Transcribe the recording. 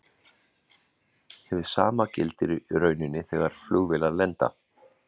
Hið sama gildir í rauninni þegar flugvélar lenda.